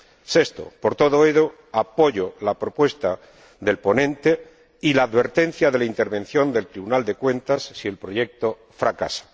Sexto, por todo ello, apoyo la propuesta del ponente y la advertencia de la intervención del Tribunal de Cuentas si el proyecto fracasa.